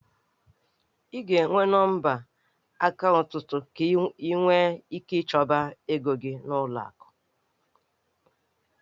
Ị ga-enwe nọmba akaụntụ ka ị nwee ike ichebe ego gị n'ụlọ akụ.